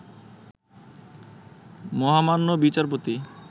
মহামান্য বিচারপতি